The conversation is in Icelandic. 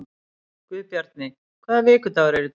Guðbjarni, hvaða vikudagur er í dag?